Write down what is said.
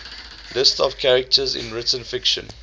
lists of characters in written fiction